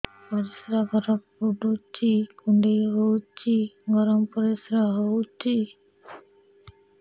ପରିସ୍ରା ଘର ପୁଡୁଚି କୁଣ୍ଡେଇ ହଉଚି ଗରମ ପରିସ୍ରା ହଉଚି